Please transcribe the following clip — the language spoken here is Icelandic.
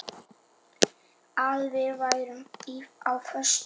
Að við værum á föstu.